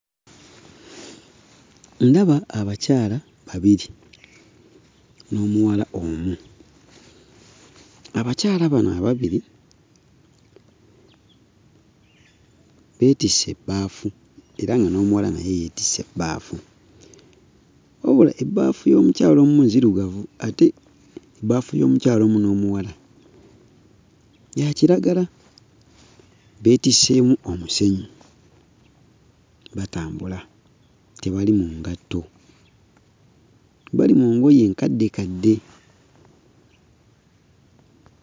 Ndaba abakyala babiri n'omuwal omu. Abakyala bano ababiri beetisse ebbaafu era nga n'omuwala naye yeetisse ebbaafu. Wabula ebbaafu y'omukyala omu nzirugavu ate ebbaafu y'omukyala omu n'omuwala ya kiragala. Beetisseemu omusenyu, batambula, tebali mu ngatto,. Bali mu ngoye enkaddekadde.